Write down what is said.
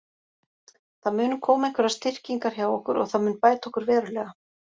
Það munu koma einhverjar styrkingar hjá okkur og það mun bæta okkur verulega.